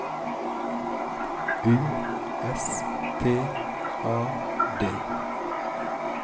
U S T A D